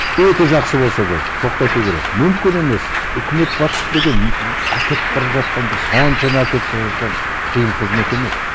өте жақсы болса да тоқтату керек мүмкін емес үкімет басшысы деген әкетіп бара жатқан бір соншама әкетіп бара жатқан қиын қызмет емес